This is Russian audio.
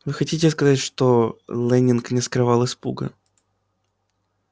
вы хотите сказать что лэннинг не скрывал испуга